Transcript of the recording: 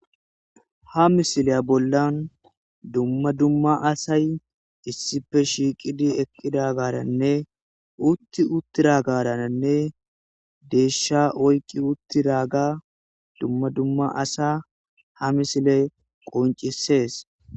Ha misileya bolla duma duma asay issipe shiqidi eqidagarane sigi utidagaranee desha oyiki utidaga duma duma asa ha misiley qonicises